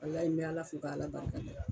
walayi n be ala fo ka ala barika da